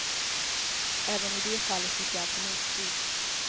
Även i det fallet fick jag alltså motflyt.